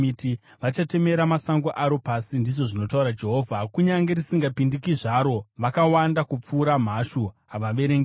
Vachatemera sango raro pasi,” ndizvo zvinotaura Jehovha, “kunyange risingapindiki zvaro. Vakawanda kupfuura mhashu, havaverengeki.